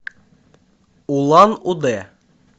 улан удэ